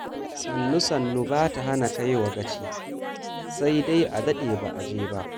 Sannu sannu ba ta hana kaiwa gaci, sai dai a daɗe ba a je ba.